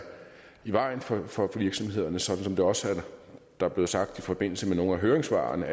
i vejen for for virksomhederne som det også er blevet sagt i forbindelse med nogle af høringssvarene